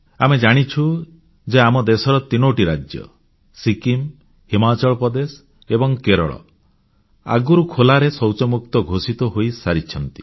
ଆମେ ଜାଣିଛୁ ଯେ ଆମ ଦେଶର ତିନୋଟି ରାଜ୍ୟ ସିକ୍କିମ୍ ହିମାଚଳ ପ୍ରଦେଶ ଏବଂ କେରଳ ଆଗରୁ ଖୋଲା ଶୌଚମୁକ୍ତ ଘୋଷିତ ହୋଇସାରିଛନ୍ତି